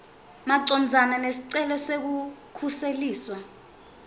macondzana nesicelo sekukhuseliswa